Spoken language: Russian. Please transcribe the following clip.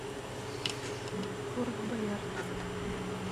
форт боярд